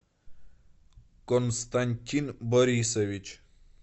константин борисович